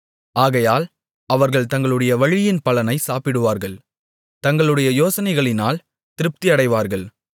ஆகையால் அவர்கள் தங்களுடைய வழியின் பலனைச் சாப்பிடுவார்கள் தங்களுடைய யோசனைகளினால் திருப்தியடைவார்கள்